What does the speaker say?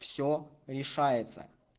все решается